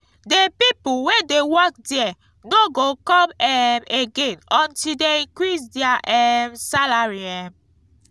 the people wey dey work there no go come um again until dey increase their um salary um